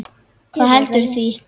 Hvað veldur því?